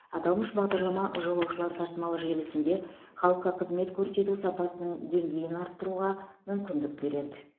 аталмыш бағдарлама жолаушылар тасымалы желісінде халыққа қызмет көрсету сапасының деңгейін арттыруға мүмкіндік береді